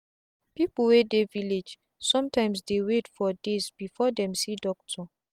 people wey dey village sometimes dey wait for days before them see doctor